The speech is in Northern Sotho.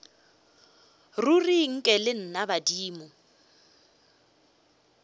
ruri nke le nna badimo